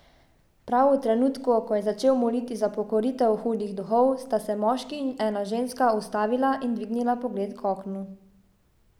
Prav v trenutku, ko je začel moliti za pokoritev hudih duhov, sta se moški in ena ženska ustavila in dvignila pogled k oknu.